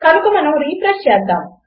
కనుక మనము రిఫ్రెష్ చేద్దాము